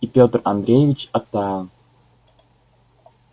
и петр андреевич оттаял